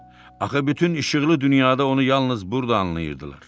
Axı bütün işıqlı dünyada onu yalnız burda anlayırdılar.